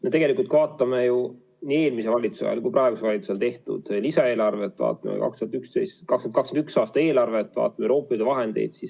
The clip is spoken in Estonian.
Me tegelikult vaatame nii eelmise valitsuse ajal kui praeguse valitsuse ajal tehtud lisaeelarvet, vaatame ka 2021. aasta eelarvet, vaatame Euroopa Liidu vahendeid.